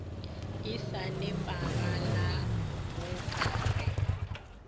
e sa nepagalago ka ge